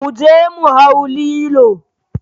Mu je mu hau lilo